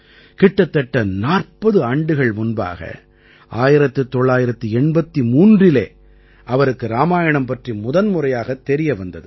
கிட்டத்தட்ட 40 ஆண்டுகள் முன்பாக 1983இலே அவருக்கு இராமாயணம் பற்றி முதன்முறையாகத் தெரிய வந்தது